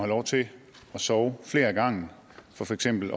lov til at sove flere ad gangen for for eksempel